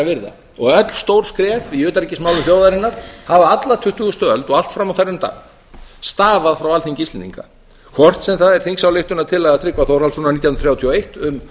að virða öll stór skref í utanríkismálum þjóðarinnar hafa alla tuttugustu öld og allt fram á þennan dag stafað frá alþingi íslendinga hvort sem það er þingsályktunartillaga tryggva þórhallssonar nítján hundruð þrjátíu og eitt um